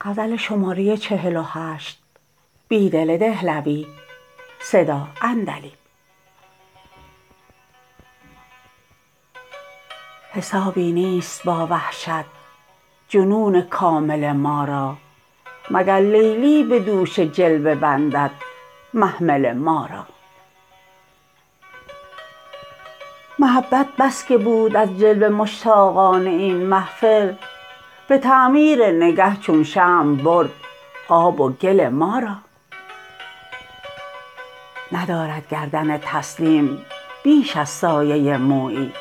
حسابی نیست با وحشت جنون کامل ما را مگر لیلی به دوش جلوه بندد محمل ما را محبت بس که بود از جلوه مشتاقان این محفل به تعمیر نگه چون شمع برد آب و گل ما را ندارد گردن تسلیم بیش از سایه مویی